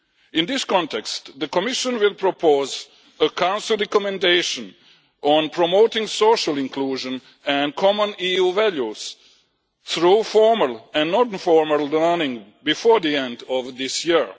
In this context, the Commission will propose a Council recommendation on promoting social inclusion and common EU values through formal and non formal learning before the end of this year.